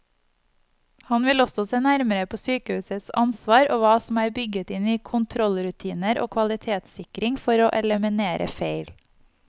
Han vil også se nærmere på sykehusets ansvar og hva som er bygget inn i kontrollrutiner og kvalitetssikring for å eliminere feil.